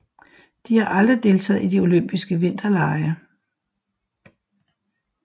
De har aldrig deltaget i olympiske vinterlege